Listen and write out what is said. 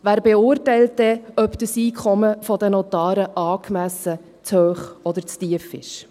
Wer beurteilt dann, ob das Einkommen der Notare angemessen, zu hoch oder zu tief ist?